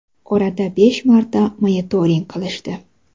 Orada besh marta monitoring qilishdi.